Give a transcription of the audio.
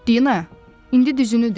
Dina, indi düzünü de.